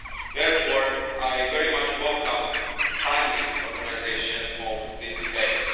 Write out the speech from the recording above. Therefore, I very much welcome the timely organisation of this debate.